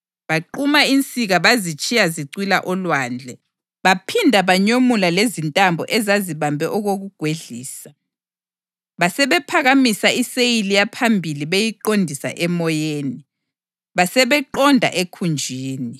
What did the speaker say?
Baquma insika bazitshiya zicwila olwandle, baphinda banyomula lezintambo ezazibambe okokugwedlisa. Basebephakamisa iseyili yaphambili beyiqondisa emoyeni, basebeqonda ekhunjini.